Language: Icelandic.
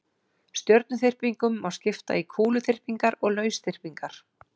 stjörnuþyrpingum má skipta í kúluþyrpingar og lausþyrpingar